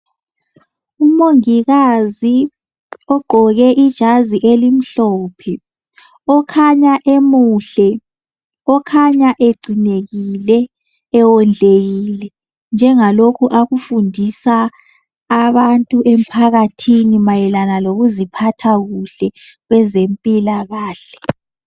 Umongikazi ogqoke ijazi elimhlophe okhanya emuhle okhanya egcinekile ewondlekile njengalokhu akufundisa abantu emphakathini mayelana lokuziphatha kuhle kwezempilakahle.